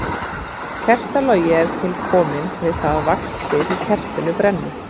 Kertalogi er til kominn við það að vaxið í kertinu brennur.